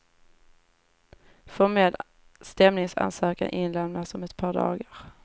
Formell stämningsansökan inlämnas om ett par dagar.